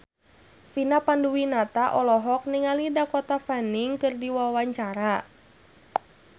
Vina Panduwinata olohok ningali Dakota Fanning keur diwawancara